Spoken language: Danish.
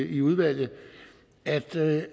i udvalget at det